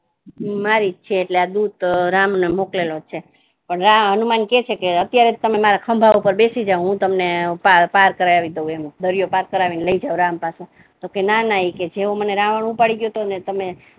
મારી જ છે એટલે આ દૂત રામ ને મોક્લેલો છે હનુમાન કહે છે કે અત્યારે તમે મારા ખબા ઉપર બેસી જાઓ હું તમને પાર પાર કરાવી દઉ એમ દરિયો પાર કરાવીને લઈ જાઉ રામ પાસે તો કહે ના ના કે જેવો મને રાવણ ઉપાડી લઈ ગયો હતો ને તમે